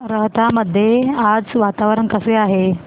राहता मध्ये आज वातावरण कसे आहे